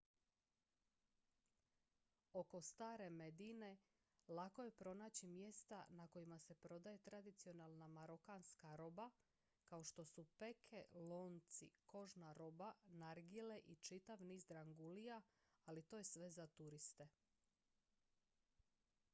oko stare medine lako je pronaći mjesta na kojima se prodaje tradicionalna marokanska roba kao što su peke lonci kožna roba nargile i čitav niz drangulija ali to je sve za turiste